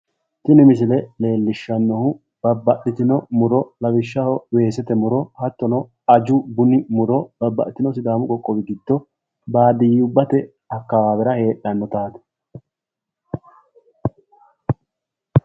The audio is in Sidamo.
Tini misile leellishshannohu, babbaxitino muro lawishshaho weesete muro hattono aju buni muro babbaxitino sidaamu qoqqowi giddo baadiyubbate akawaawera heedhannotaati.